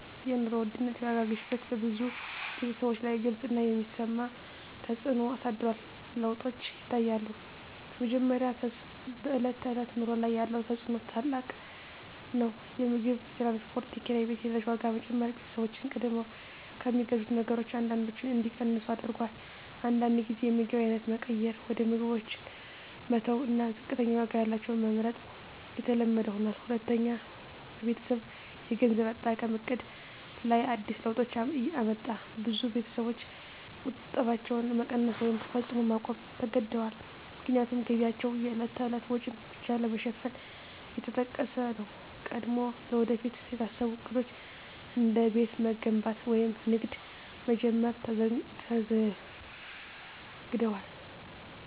የኑሮ ውድነት (የዋጋ ግሽበት) በብዙ ቤተሰቦች ላይ ግልጽ እና የሚሰማ ተፅዕኖ አሳድሯል። ለውጦች ይታያሉ፦ በመጀመሪያ፣ በዕለት ተዕለት ኑሮ ላይ ያለው ተፅዕኖ ታላቅ ነው። የምግብ፣ የትራንስፖርት፣ የኪራይ ቤት እና የነዳጅ ዋጋ መጨመር ቤተሰቦችን ቀድሞ ከሚገዙት ነገሮች አንዳንዶቹን እንዲቀንሱ አድርጎአል። አንዳንድ ጊዜ የምግብ አይነት መቀየር (ውድ ምግቦችን መተው እና ዝቅተኛ ዋጋ ያላቸውን መመርጥ) የተለመደ ሆኗል። ሁለተኛ፣ በቤተሰብ የገንዘብ አጠቃቀም ዕቅድ ላይ አዲስ ለውጦች አመጣ። ብዙ ቤተሰቦች ቁጠባቸውን መቀነስ ወይም ፈጽሞ ማቆም ተገድደዋል፣ ምክንያቱም ገቢያቸው የዕለት ተዕለት ወጪን ብቻ ለመሸፈን እየተጠቀሰ ነው። ቀድሞ ለወደፊት የታሰቡ ዕቅዶች፣ እንደ ቤት መገንባት ወይም ንግድ መጀመር፣ ተዘግደዋል።